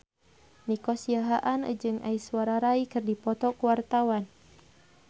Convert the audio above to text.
Nico Siahaan jeung Aishwarya Rai keur dipoto ku wartawan